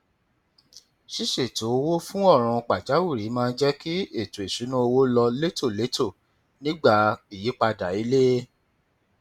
ṣíṣètò owó fún ọràn pàjáwìrì máa ń jẹ kí ètò ìṣúnná owó lọ létòlétò nígbà ìyípadà ilé